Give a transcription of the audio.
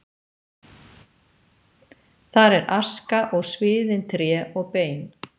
Þar er aska og sviðin tré og bein.